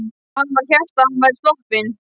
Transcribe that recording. Og hann sem hélt að hann væri sloppinn!